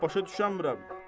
Vallah başa düşə bilmirəm.